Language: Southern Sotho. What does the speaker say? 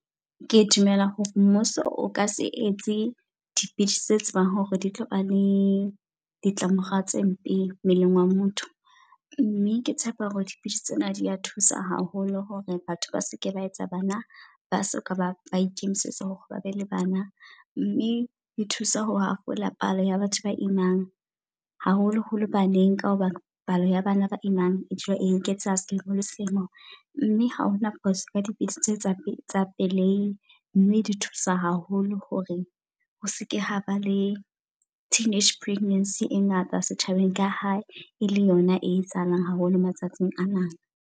Ke dumela hore mmuso o ka se etse dipidisi tse tsebang hore di tlo ba le ditlamorao tse mpe mmeleng wa motho. Mme ke tshepa hore dipidisi tsena di a thusa haholo hore batho ba seke ba etsa bana ba soka ba ba ikemisetsa hore ba be le bana. Mme e thusa ho hafola palo ya batho ba imang. Haholo holo baneng ka hobane palo ya bana ba imang e dula eketseha seholo seno. Mme ha hona phoso ka dipidisi tse tsa pele tsa pelei. Mme di thusa haholo hore ho se ke ha ba le teenage pregnancy e ngata setjhabeng ka ha e le yona e etsahalang haholo matsatsing anana.